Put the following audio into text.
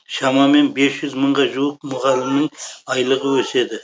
шамамен бес жүз мыңға жуық мұғалімнің айлығы өседі